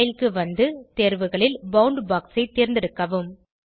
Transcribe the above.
style க்கு வந்து தேர்வுகளில் பவுண்ட்பாக்ஸ் ஐ தேர்ந்தெடுக்கவும்